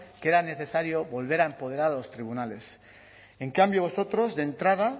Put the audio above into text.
que era necesario volver a empoderar a los tribunales en cambio vosotros de entrada